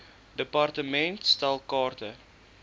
department stel kaarte